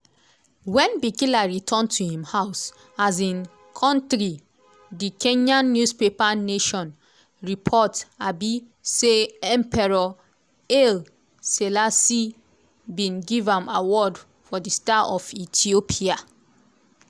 wen bikila return to im house um kontri di kenyan newspaper nation report um say emperor haile selassie bin give am award of di star of ethiopia.